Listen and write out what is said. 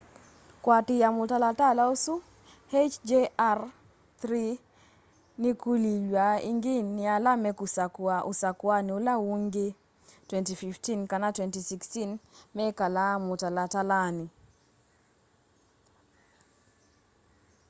kuatiia mutalala usu hjr-3 nikulilw'a ingi ni ala mekusakua usakuani ula ungi 2015 kana 2016 mekale mutalatalani